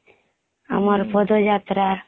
ଆମର ପଦ ଯାତ୍ରା